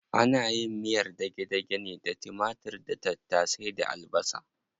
Ana yin miyar dage-dage ne da timatir da tattasai da albasa.